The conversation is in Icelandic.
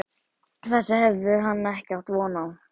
Þessu hafði hann ekki átt von á.